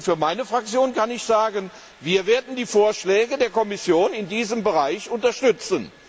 Für meine Fraktion kann ich sagen, wir werden die Vorschläge der Kommission in diesem Bereich unterstützen.